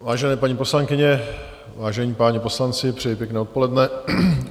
Vážené paní poslankyně, vážení páni poslanci, přeji pěkné odpoledne.